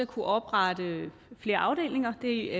kunne oprette flere afdelinger det